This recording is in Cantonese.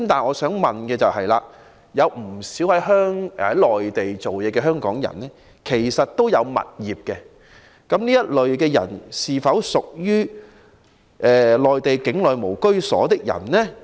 我想問，不少在內地工作的香港人擁有物業，這些人是否屬於在內地境內無住所，他們是否獲得豁免？